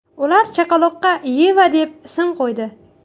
Ular chaqaloqqa Yeva deb ism qo‘ydi.